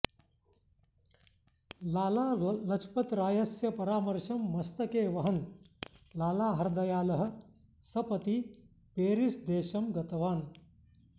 लालालजपरायस्य परामर्शं मस्तके वहन् लालाहरदयालः सपति पेरिस्देशं गतवान्